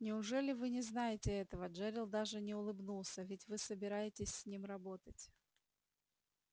неужели вы не знаете этого джерилл даже не улыбнулся ведь вы собираетесь с ним работать